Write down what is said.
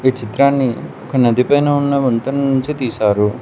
చిత్రాన్ని ఒక నది పైన ఉన్న వంతెన నుంచి తీసారు.